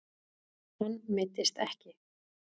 Hann meiddist ekki.